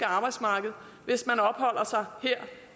arbejdsmarked hvis man opholder sig her